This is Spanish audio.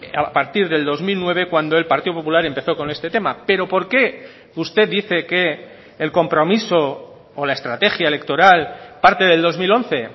a partir del dos mil nueve cuando el partido popular empezó con este tema pero por qué usted dice que el compromiso o la estrategia electoral parte del dos mil once